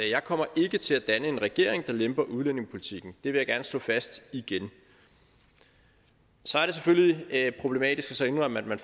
jeg kommer ikke til at danne en regering der lemper på udlændingepolitikken det vil jeg gerne slå fast igen så er det selvfølgelig problematisk at indrømme at man